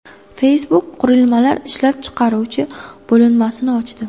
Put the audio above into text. Facebook qurilmalar ishlab chiqaruvchi bo‘linmasini ochdi.